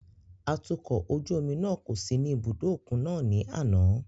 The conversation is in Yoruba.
Atukọ̀ ojú omi náà kò sí ní ibùdó òkun náà ní àná.